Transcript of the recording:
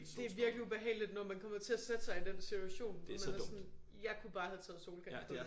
Det vikelig ubehageligt når man kommer til at sætte sig i den situation når man er sådan jeg kunne bare have taget solcreme på